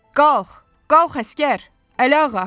Qalx, qalx əsgər, Əliağa.